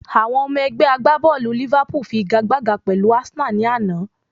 Àwọn Ẹgbẹ́ agbábọ̀lù Liverpool fi igagbága pẹ̀lú Arsenal ní àná